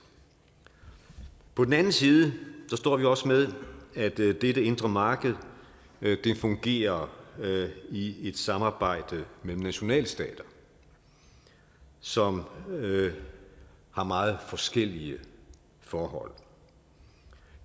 på den anden side står vi også med at dette indre marked fungerer i et samarbejde mellem nationalstater som har meget forskellige forhold